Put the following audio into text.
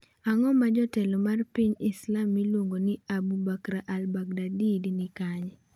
Ang'o ma jatelo mar piny Islam miluongo ni Abu Bakr al-Baghdadi ni kanye?